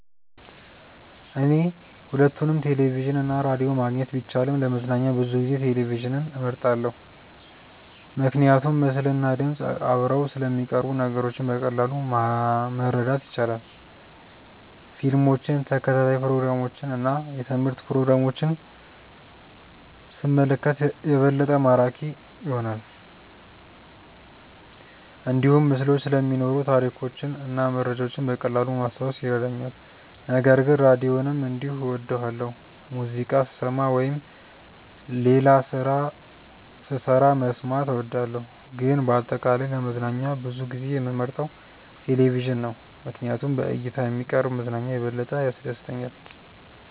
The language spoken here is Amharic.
እኔ ሁለቱንም ቴሌቪዥን እና ራዲዮ ማግኘት ቢቻልም ለመዝናኛ ብዙ ጊዜ ቴሌቪዥንን እመርጣለሁ። ምክንያቱም ምስልና ድምፅ አብረው ስለሚቀርቡ ነገሮችን በቀላሉ ማረዳት ይቻላል። ፊልሞችን፣ ተከታታይ ፕሮግራሞችን እና የትምህርት ፕሮግራሞችን ሲመለከት የበለጠ ማራኪ ይሆናል። እንዲሁም ምስሎች ስለሚኖሩ ታሪኮችን እና መረጃዎችን በቀላሉ ማስታወስ ይረዳኛል። ነገር ግን ራዲዮንም እንዲሁ እወዳለሁ፣ ሙዚቃ ስሰማ ወይም ሌላ ስራ ስሰራ መስማት እወዳለሁ። ግን በአጠቃላይ ለመዝናኛ ብዙ ጊዜ የምመርጠው ቴሌቪዥን ነው ምክንያቱም በእይታ የሚቀርብ መዝናኛ የበለጠ ያስደስተኛል።